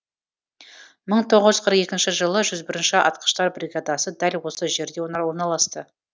мың тоғыз жүз қырық екінші жылы жүз бірінші атқыштар бригадасы дәл осы жерде орналасты